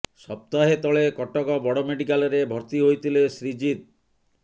ସପ୍ତାହେ ତଳେ କଟକ ବଡ ମେଡିକାଲରେ ଭର୍ତ୍ତି ହୋଇଥିଲେ ଶ୍ରୀଜିତ